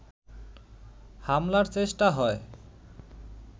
হামলার চেষ্টা হয়